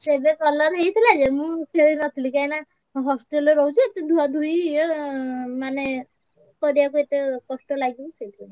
ସେବେ colour ହେଇଥିଲା ଯେ ମୁଁ ଖେଳି ନ ଥିଲି କାଇଁନା hostel ରେ ରହୁଛି ଏତେ ଧୁଆଧୁଇ ଏତେ ଇଏ ମାନେ କରିବାକୁ କଷ୍ଟ ଲାଗିବ ସେଇଥି ପାଇଁ।